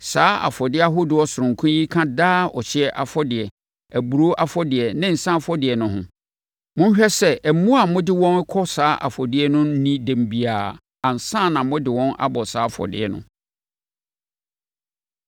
Saa afɔdeɛ ahodoɔ sononko yi ka daa ɔhyeɛ afɔdeɛ, aburoo afɔdeɛ ne nsã afɔdeɛ no ho. Monhwɛ sɛ mmoa a mode wɔn rekɔbɔ saa afɔdeɛ no nnii dɛm biara ansa na mode wɔn abɔ saa afɔdeɛ no.